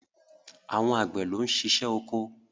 Àwọn Àgbẹ̀ ló ń ṣiṣẹ́ oko.